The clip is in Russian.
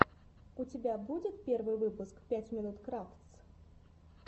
у тебя будет первый выпуск пять минут крафтс